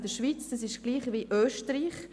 Dies sind gleich viele wie in Österreich.